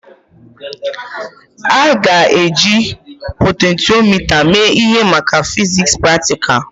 A ga-eji potentiomita mee ihe maka fiziks praktikal?